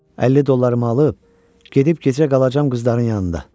50 dollarımı alıb gedib gecə qalacam qızların yanında.